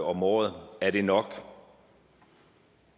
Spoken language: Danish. om året er det nok